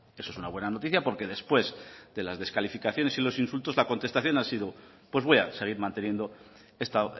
eso es una buena noticia porque después de las descalificaciones y los insultos la contestación ha sido pues voy a seguir manteniendo esta